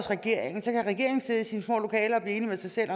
regeringen sidde i sine små lokaler og blive enig med sig selv